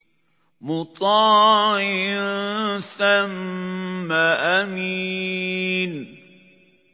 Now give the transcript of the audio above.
مُّطَاعٍ ثَمَّ أَمِينٍ